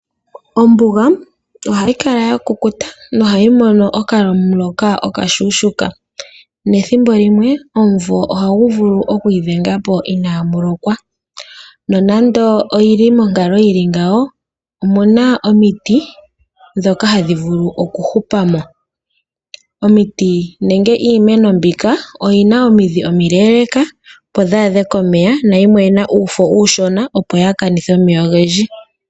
Ombuga ohayi kala ya kukuta nohayi mono okamuloka okashushuka. Nethimbo limwe, omumvo ohagu vulu okwiidhenga po inaa mu lokwa, nonando oyi li monkalo yi li ngawo omu na omiti ndhoka hadhi vulu okuhupa mo. Omiti nenge iimeno mbika oyi na omidhi omileeleka opo dhi adhe komeya nayimwe oyi na uufo uushona opo yaa kanithe omeya ogendji.